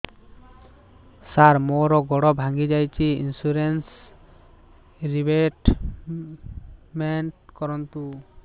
ସାର ମୋର ଗୋଡ ଭାଙ୍ଗି ଯାଇଛି ଇନ୍ସୁରେନ୍ସ ରିବେଟମେଣ୍ଟ କରୁନ୍ତୁ